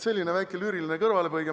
Selline väike lüüriline kõrvalepõige.